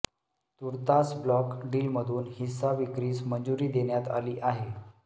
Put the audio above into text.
तूर्तास ब्लॉक डीलमधून हिस्सा विक्रीस मंजुरी देण्यात आली आहे